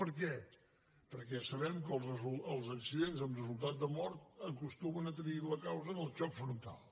per què perquè sabem que els accidents amb resultat de mort acostumen a tenir la causa del xoc frontal